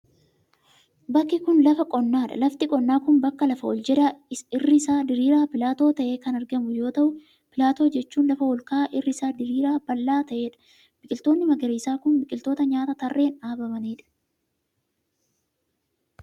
Bakki kun, lafa qonnaa dha. Lafti qonnaa kun bakka lafa ol jedhaa irri isaa diriiraa pilaatoo ta'etti kan argamu yoo ta'u, pilaatoo jechuun lafa ol ka'aa irri isaa diriiraa bal'aa ta'ee dha. Biqiloonni magariisaa kun, biqiloota nyaataa tarreen dhaabamanii dha.